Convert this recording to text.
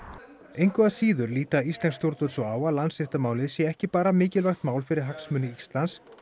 engu að síður líta íslensk stjórnvöld svo á að Landsréttarmálið sé ekki bara mikilvægt mál fyrir hagsmuni Íslands